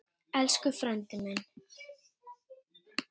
Elsku frændi minn.